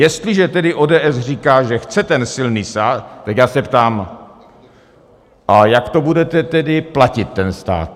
Jestliže tedy ODS říká, že chce ten silný stát, tak já se ptám - a jak to budete tedy platit, ten stát?